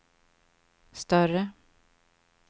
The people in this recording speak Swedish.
större